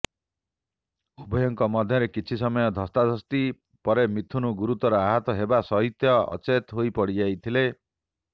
ଉଭୟଙ୍କ ମଧ୍ୟରେ କିଛି ସମୟ ଧସ୍ତାଧସ୍ତି ପରେ ମିଥୁନ ଗୁରୁତର ଆହତ ହେବା ସହିତ ଅଚେତ ହୋଇପଡିଯାଇଥିଲେ